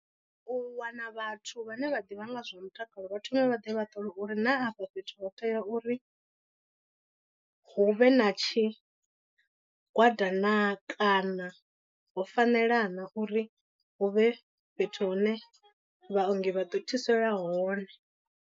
U wana vhathu vhane vha ḓivha nga zwa mutakalo vha thome vha ḓe vha ṱole uri na afha fhethu ho tea uri hu vhe na tshigwada naa kana ho fanela na uri hu vhe fhethu hune vhaongi vha ḓo thusea hone.